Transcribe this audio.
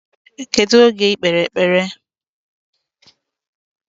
Kedu oge ikpe ekpere?